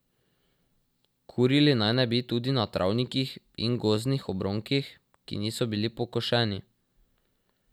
Kurili naj ne bi tudi na travnikih in gozdnih obronkih, ki niso bili pokošeni.